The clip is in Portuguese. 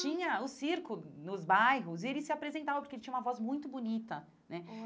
Tinha o circo nos bairros e ele se apresentava porque ele tinha uma voz muito bonita, né?